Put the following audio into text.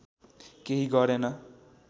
केही गरेँन